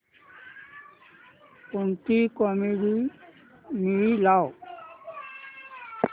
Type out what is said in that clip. कोणतीही comedy movie लाव